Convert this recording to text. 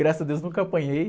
Graças a deus, nunca apanhei.